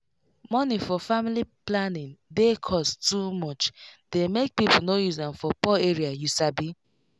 money for family planning dey cost too much dey make people no use am for poor area you sabi